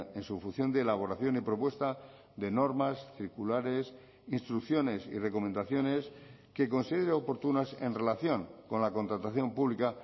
en su función de elaboración y propuesta de normas circulares instrucciones y recomendaciones que considere oportunas en relación con la contratación pública